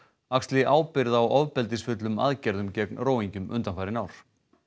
axli ábyrgð á ofbeldisfullum aðgerðum gegn undanfarin ár